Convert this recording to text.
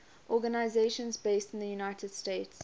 organizations based in the united states